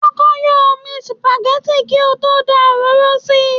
Kọ́kọ́ yọ́ omi supagẹ́tì kí ó tó dá òróró sí i.